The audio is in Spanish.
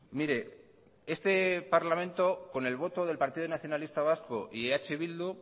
mire este parlamento con el voto del partido nacionalista vasco y eh bildu